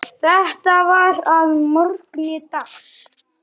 Þetta var að morgni dags.